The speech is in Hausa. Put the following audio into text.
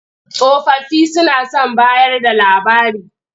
Tsofaffi suna son bayarda labari.